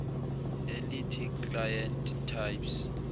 elithi client types